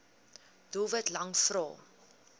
doelwit lang vrae